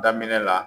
Daminɛ la